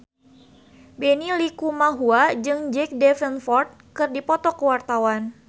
Benny Likumahua jeung Jack Davenport keur dipoto ku wartawan